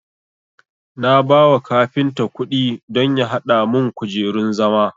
Na bawa kafinta kudi don ya hada mun kujerun zama